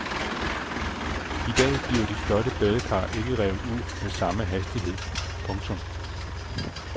I dag bliver de flotte badekar ikke revet ud med samme hastighed. punktum